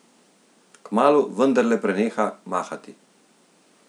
Kmalu vendarle preneha mahati.